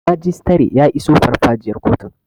Majistare ya iso farfajiyar kotun